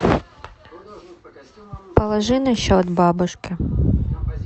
положи на счет бабушке